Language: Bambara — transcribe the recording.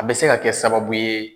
A be se ka kɛ sababu ye